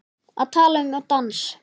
Að tala um dans